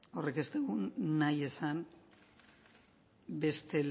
horrek ez deu nahi esan beste